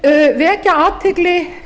ég vil vekja athygli